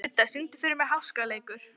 Didda, syngdu fyrir mig „Háskaleikur“.